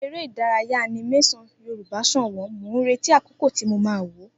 Eré Ìdárayá animésàn yoruba ṣọ̀wọ̀n, mo ń retí akọkọ ti mo ma wò